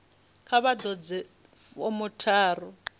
kha vha ḓadze fomo tharu